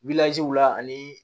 la ani